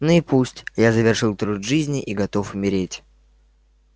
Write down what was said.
ну и пусть я завершил труд жизни и готов умереть